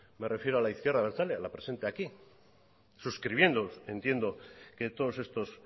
me refiero a la izquierda abertzale a la presente aquí suscribiendo entiendo que todos estos